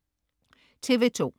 TV2: